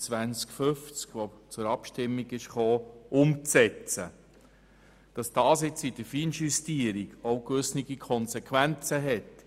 Es ist klar, dass dies nun in der Feinjustierung gewisse Konsequenzen hat.